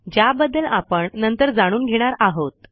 ज्याबद्दल आपण नंतर जाणून घेणार आहोत